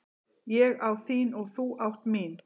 Ég á þín og þú átt mín.